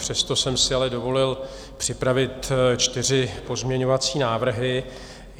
Přesto jsem si ale dovolil připravit čtyři pozměňovací návrhy.